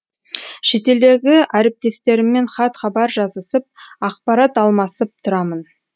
шетелдегі әріптестеріммен хат хабар жазысып ақпарат алмасып тұрамын